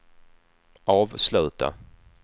avsluta